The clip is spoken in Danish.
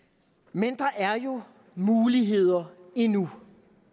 men der er jo muligheder endnu